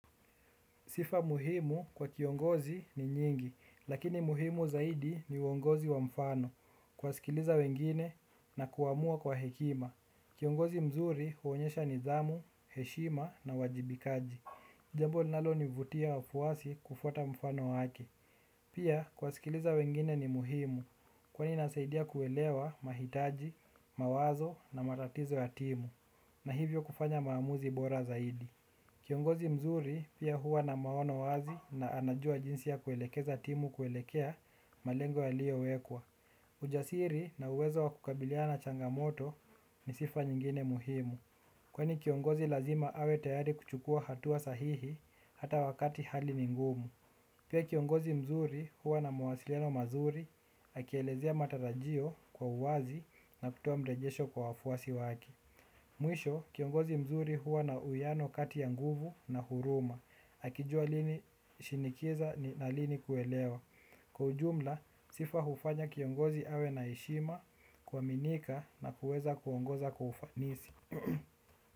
Sifa muhimu kwa kiongozi ni nyingi, lakini muhimu zaidi ni uongozi wa mfano, kuwasikiliza wengine na kuamua kwa hekima. Kiongozi mzuri huonyesha nidhamu, heshima na uwajibikaji. Jambo linalonivutia wafuasi kufuata mfano wake. Pia kuwasikiliza wengine ni muhimu, kwani inasaidia kuelewa mahitaji, mawazo na matatizo ya timu, na hivyo kufanya maamuzi bora zaidi. Kiongozi mzuri pia huwa na maono wazi na anajua jinsi ya kuelekeza timu kuelekea malengo yaliowekwa. Ujasiri na uwezo wa kukabiliana na changamoto ni sifa nyingine muhimu. Kwani kiongozi lazima awe tayari kuchukua hatua sahihi hata wakati hali ni ngumu. Pia kiongozi mzuri hua na mawasiliano mazuri akielezea matarajio kwa uwazi na kutoa mrejesho kwa wafuasi wake. Mwisho, kiongozi mzuri huwa na uwiano kati ya nguvu na huruma. Akijua lini shinikiza na lini kuelewa. Kwa ujumla, sifa hufanya kiongozi awe na heshima kuaminika na kuweza kuongoza kwa ufanisi.